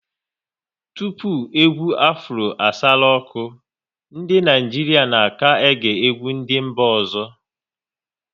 Tupu egwu Afro asaru ọkụ, ndị Naịjirịa na ka-ege egwu ndị mba ọzọ